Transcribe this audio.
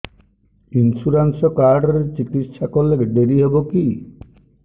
insurance card ରେ ଚିକିତ୍ସା କଲେ ଡେରି ହବକି